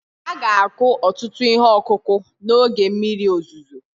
A ga-akụ ọtụtụ ihe ọkụkụ n'oge mmiri ozuzo